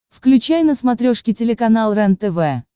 включай на смотрешке телеканал рентв